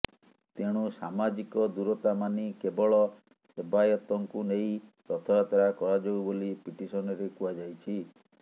ତେଣୁ ସମାଜିକ ଦୂରତାମାନି କେବଳ ସେବାୟତଙ୍କୁ ନେଇ ରଥଯାତ୍ରା କରାଯାଉ ବୋଲି ପିଟିସନରେ କୁହାଯାଇଛି